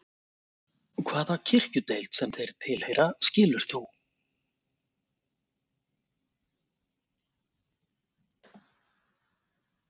Hvaða kirkjudeild sem þeir tilheyra, skilur þú?